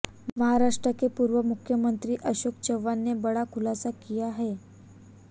महाराष्ट्र के पूर्व मुख्यमंत्री अशोक चव्हाण ने बड़ा खुलासा किया है